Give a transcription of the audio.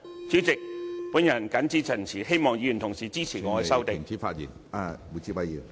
主席，我謹此陳辭，希望議員同事支持我的修正案。